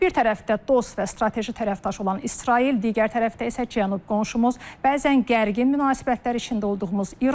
Bir tərəfdə dost və strateji tərəfdaş olan İsrail, digər tərəfdə isə cənub qonşumuz, bəzən gərgin münasibətlər içində olduğumuz İran.